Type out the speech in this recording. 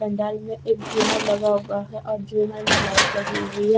पंडाल में एक झुमर लगा हुआ है और झूमर में लाइट लगी हुई है।